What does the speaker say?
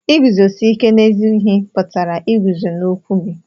Iguzosi ike n'ezi ihe pụtara iguzo n'okwu gị.